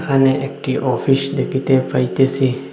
এখানে একটি অফিস দেখিতে পাইতেসি।